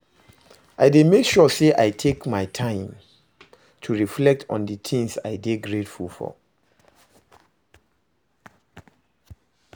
I dey make sure say i take time to reflect on di things i dey grateful for.